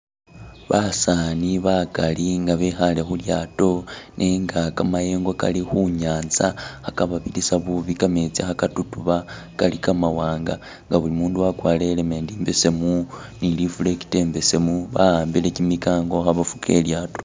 Basaani bakali nga bekhale khu lyaato nenga kamayengo kali khu nyaanza khakababirisa bubi kametsi kha katutuba, kali ka mawanga nga buli mundu wakwarire helmet imbesemu ni reflector imbesemu ba'ambile kyimikango khabafuka ilyaato.